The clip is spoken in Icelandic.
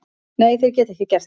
Nei, þeir geta ekki gert það.